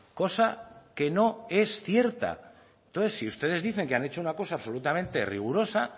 cosa que no es cierta entonces si ustedes dicen que han hecho una cosa absolutamente rigurosa